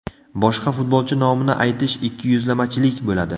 Boshqa futbolchi nomini aytish ikkiyuzlamachilik bo‘ladi.